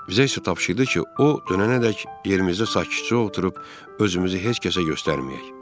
Bizə isə tapşırdı ki, o dönənədək yerimizdə sakitcə oturub özümüzü heç kəsə göstərməyək.